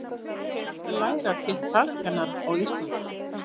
ekki er hægt að læra til talkennara á íslandi